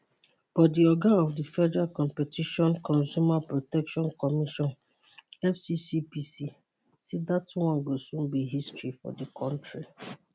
but di oga of di federal competition consumer protection commission fccpc say dat one go soon be history for di kontri